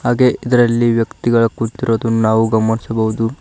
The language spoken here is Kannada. ಹಾಗೆ ಇದರಲ್ಲಿ ವ್ಯಕ್ತಿಗಳ ಕುಳಿತಿರೋದು ನಾವು ಗಮನಿಸಬಹುದು.